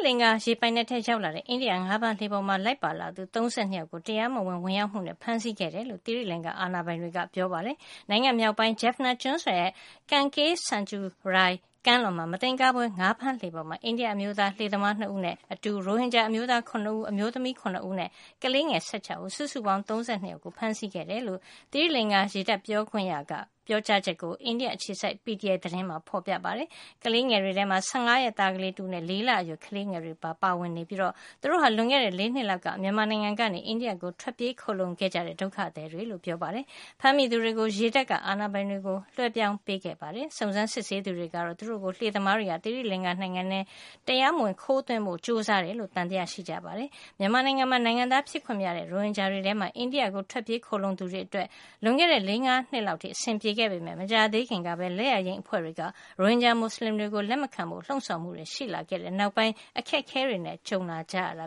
လင်္ကာရေပိုင်နက်ထဲ ရောက်လာတဲ့ အိန္ဒိယ ငါးဖမ်းလှေပေါ်မှာ လိုက်ပါလာသူ ၃၂ ယောက် ကို တရားမဝင် ဝင်ရောက်မှုနဲ့ ဖမ်းဆီးခဲ့ကြောင်း သီရိလင်္ကာ အာဏာပိုင်တွေက ပြောပါတယ်။ နိုင်ငံမြောက်ပိုင်း Jaffna ကျွန်းဆွယ်ရဲ့ Kanke santurai ကမ်းလွန်မှာ မသင်္ကာဖွယ် ငါးဖမ်းလှေပေါ်မှာ အိန္ဒိယ အမျိုးသား လှေသမား ၂ ဦးနဲ့ အတူ ရိုဟင်ဂျာအမျိုးသား ၇ ဦး အမျိုးသမီး ၇ ဦးနဲ့ ကလေးငယ် ၁၆ ဦး စုစုပေါင်း ၃၂ အယောက် ကို ဖမ်းဆီးခဲ့တယ်လို့ သီရိလင်္ကာ ရေတပ် ပြောခွင့်ရ Chaminda Walakuluge ရဲ့ ပြောကြားချက်ကို အိန္ဒိယ အခြေစိုက် PTI သတင်းမှာ ဖေါ်ပြထားပါတယ်။ ကလေးငယ်တွေထဲမှာ ၁၅ ရက်သားကလေး တဦးနဲ့ ၄ လအရွယ်ကလေးငယ်တွေပါ ပါဝင်နေတာ ဖြစ်ပြီး သူတို့ဟာ လွန်ခဲ့တဲ့ ၄ နှစ် လောက်က မြန်မာနိုင်ငံကနေ အိန္ဒိယကို ထွက်ပြေးခိုလှုံခဲ့ကြတဲ့ ဒုက္ခသည်တွေ လို့လည်း ပြောပါတယ်။ ဖမ်းမိသူတွေကို ရေတပ်က ဒေသအာဏာပိုင်တွေကို လွှဲပြောင်းပေးခဲ့တာပါ။ စုံစမ်း စစ်ဆေးသူတွေကတော့ သူတို့ကို လှေသမားတွေက သီရိလင်္ကာနိုင်ငံထဲ တရားမဝင် ခိုးသွင်းဖို့ ကြိုးစားတာလို့ သံသယရှိနေပါတယ်။ မြန်မာနိုင်ငံမှာ နိုင်ငံသားဖြစ်ခွင့်မရတဲ့ ရိုဟင်ဂျာတွေထဲမှာ အိန္ဒိယနိုင်ငံကို ထွက်ပြေးခိုလှုံသူတွေအတွက် လွန်ခဲ့တဲ့ ၄ - ၅ နှစ်လောက်အထိ အဆင်ပြေခဲ့ပေမယ့် မကြာသေးခင်ကပဲ လင်္ကျာယိမ်း အဖွဲ့တွေက ရိုဟင်ဂျာမူစလင်တွေကို လက်မခံဖို့ လှုံ့ဆော်မှုတွေ ရှိလာခဲ့တဲ့ နောက်ပိုင်း အခက်အခဲတွေနဲ့ ကြုံလာကြရတ